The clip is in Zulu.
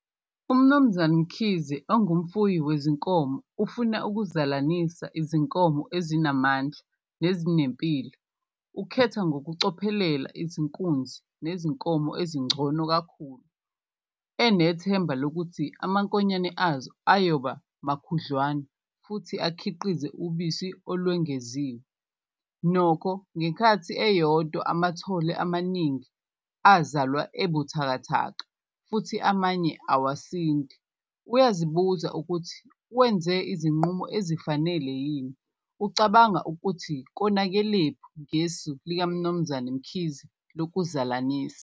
Umnumzane Mkhize ongumfuyi wezinkomo ufuna ukuzalanisa izinkomo ezinamandla nezinempilo, ukhetha ngokucophelela izinkunzi nezinkomo ezingcono kakhulu enethemba lokuthi amankonyane azo ayoba makhudlwana futhi akhiqize ubisi olwengeziwe. Nokho ngekhathi eyodwa amathole amaningi azalwa ebuthakathaka futhi amanye awasindi, uyazibuza ukuthi wenze izinqumo ezifanele yini? Ucabanga ukuthi konakelephi ngesu likaMnumzane Mkhize lokuzalanisa.